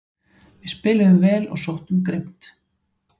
Við spiluðum vel og sóttum grimmt